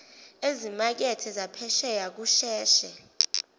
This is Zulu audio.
ezimakethe zaphesheya kusheshe